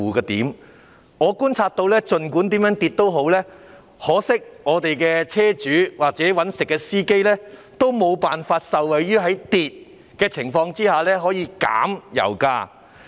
很可惜，我觀察到，儘管油價怎樣下跌，我們的車主或在職司機均無法受惠於油價下跌而享有較低油價之利。